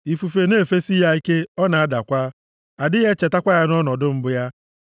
ifufe na-efesi ya ike, ọ na-adakwa, adịghị echetakwa ya nʼọnọdụ mbụ ya.